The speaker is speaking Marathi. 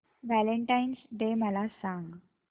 व्हॅलेंटाईन्स डे मला सांग